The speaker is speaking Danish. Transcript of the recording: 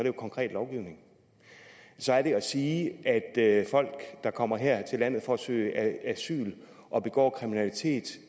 jo konkret lovgivning så er det at sige at folk der kommer her til landet for at søge asyl og begår kriminalitet